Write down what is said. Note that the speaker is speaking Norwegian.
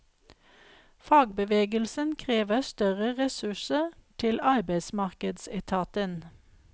Fagbevegelsen krever større ressurser til arbeidsmarkedsetaten.